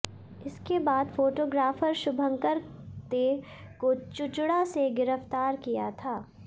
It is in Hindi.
इसके बाद फोटोग्राफर शुभंकर दे को चुचुड़ा से गिरफ्तार किया था